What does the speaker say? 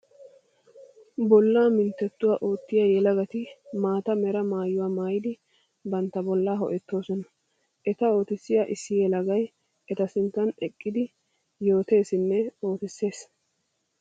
Bolla minttetuwa ootiya yelagati maata mera maayuwa maayiddi bantta bollaa ho'ettosonna. Eta oottissiya issi yelagay eta sinttan eqqiddi yootesinne oottisees.